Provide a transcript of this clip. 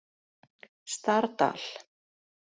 Stardal